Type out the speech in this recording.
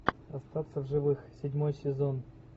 остаться в живых седьмой сезон